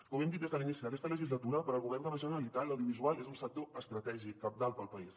com hem dit des de l’inici d’aquesta legislatura pel govern de la generalitat l’audiovisual és un sector estratègic cabdal per al país